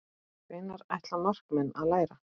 Hvenær ætla markmenn að læra?